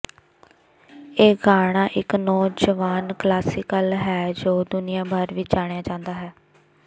ਇਹ ਗਾਣਾ ਇੱਕ ਨੌਜਵਾਨ ਕਲਾਸੀਕਲ ਹੈ ਜੋ ਦੁਨੀਆ ਭਰ ਵਿੱਚ ਜਾਣਿਆ ਜਾਂਦਾ ਹੈ